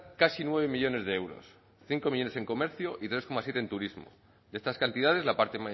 casi nueve millónes de euros cinco millónes en comercio y tres coma siete en turismo de estas cantidades la parte